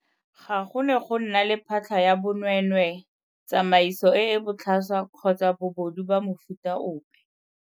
Ga go ne go nna le phatlha ya bonweenweee, tsamaiso e e botlhaswa kgotsa bobodu ba mofuta ope.